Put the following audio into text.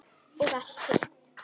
Og allt hitt.